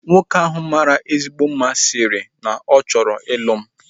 Nwoke ahu mara ezigbote mma sịrị no na ọ chọrọ ịlụ m